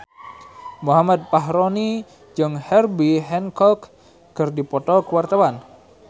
Muhammad Fachroni jeung Herbie Hancock keur dipoto ku wartawan